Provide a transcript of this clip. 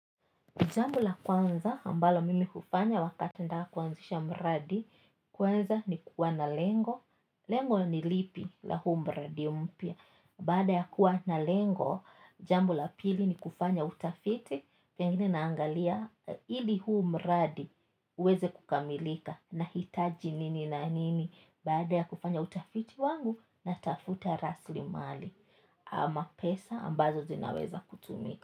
Jambo la kwanza ambalo mimi hufanya wakati nataka kuanzisha mradi kwanza nikuwa na lengo lengo nilipi la huu mradi mpya baada ya kuwa na lengo jambo la pili ni kufanya utafiti and then naangalia hili huu mradi huweze kukamilika nahitaji nini na nini baada ya kufanya utafiti wangu, natafuta rasli mali ama pesa ambazo zinaweza kutumika.